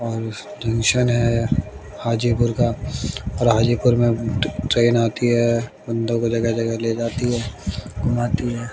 और इस स्टेशन है हाजीपुर का और हाजीपुर में ट्रेन आती है बंदों को जगह जगह ले जाती है घूमाती है।